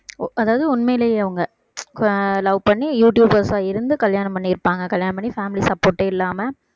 அதாவது உண்மையிலேயே அவங்க ஆஹ் love பண்ணி யூடுயூபர்ஸா இருந்து கல்யாணம் பண்ணியிருப்பாங்க கல்யாணம் பண்ணி family support யே இல்லாம